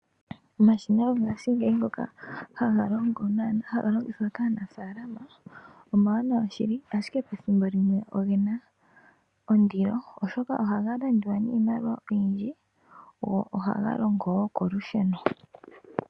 Omashina gongashingeyi ngoka haga longithwa kaanafalama omawanawa shili, ashike pethimbo like a ogena ondilo, oshoka ohaga landwa niimaliwa oyindji go ohaga longo wo kolusheno.